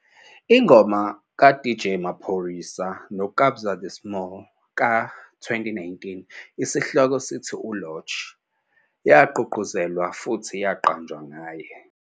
Ingoma kaDJ Maphorisa noKabza De Small ka-2019, esihloko "sithi Lorch", yagqugquzelwa futhi yaqanjwa ngaye.